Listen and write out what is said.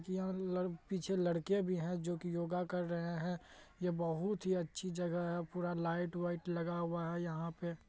की यहाँ लड़ पीछे मे लड़के भी है जो की योगा कर रहे है ये बहुत ही अच्छी जगह है पूरा लाइट वाइट लगा हुआ है यहाँ पे ---